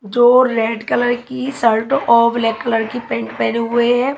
जो red colour की shirt और ब्लैक कलर की पेंट पहने हुए हैं।